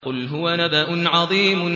قُلْ هُوَ نَبَأٌ عَظِيمٌ